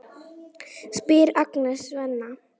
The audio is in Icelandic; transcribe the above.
spyr Agnes Svenna.